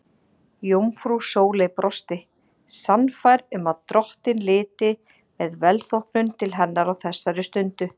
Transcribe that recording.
Jómfrú Sóley brosti, sannfærð um að drottinn liti með velþóknun til hennar á þessari stundu.